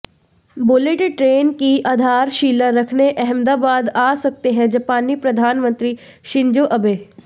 bullet train की आधारशिला रखने अहमदाबाद आ सकते हैं जापानी प्रधानमंत्री शिंजो अबे